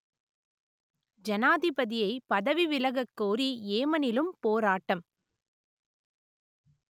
ஜனாதிபதியைப் பதவி விலகக் கோரி ஏமனிலும் போராட்டம்